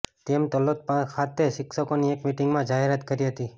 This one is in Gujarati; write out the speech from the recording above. તેમ તલોદ ખાતે શિક્ષકોની એક મિટિંગમાં જાહેરાત કરી હતી